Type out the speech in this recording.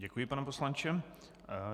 Děkuji, pane poslanče.